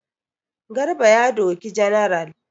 Garba ya doki general.